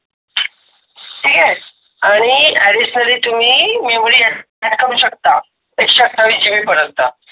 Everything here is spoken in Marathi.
आणी Additionally तुम्ही Memory करू शकता. एकसेआठवीस GB पर्यंत ठीक आहे.